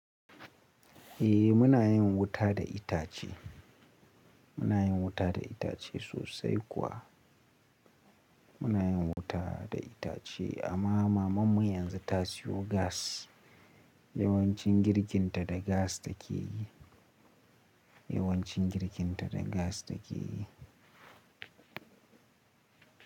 Eh muna yin wuta da itace, muna yin wuta da itace sosai kuwa. Muna yin wuta da itace amma mamanmu yanzu ta siyo gas. Yawancin girkin ta da gas take Yawancin girkin ta da gas take yi.